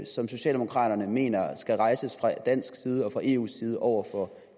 som socialdemokraterne mener skal rejses fra dansk side og fra eus side over for